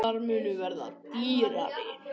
Bílar munu verða dýrari